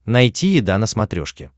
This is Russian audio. найти еда на смотрешке